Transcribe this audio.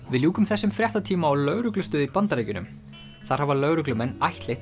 við ljúkum þessum fréttatíma á lögreglustöð í Bandaríkjunum þar hafa lögreglumenn ættleitt